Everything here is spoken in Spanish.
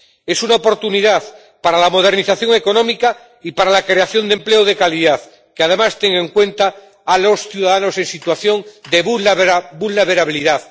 Es una oportunidad para la modernización económica y para la creación de un empleo de calidad que además tenga en cuenta a los ciudadanos en situación de vulnerabilidad.